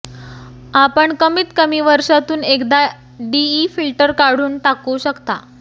आपण कमीत कमी वर्षातून एकदा डीई फिल्टर काढून टाकू शकता